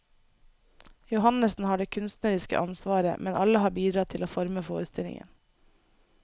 Johannessen har det kunstneriske ansvaret, men alle har bidratt til å forme forestillingen.